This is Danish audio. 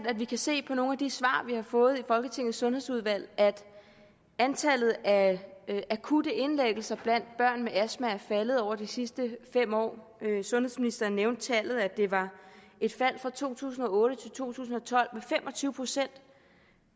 at vi kan se i nogle af de svar vi har fået i folketingets sundhedsudvalg at antallet af akutte indlæggelser blandt børn med astma er faldet over de sidste fem år sundhedsministeren nævnte tallet at det var et fald fra to tusind og otte til to tusind og tolv